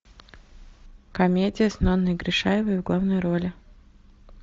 комедия с нонной гришаевой в главной роли